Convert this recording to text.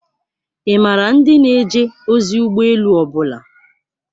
Ị maara ndị na-eje ozi ụgbọ elu ọ bụla?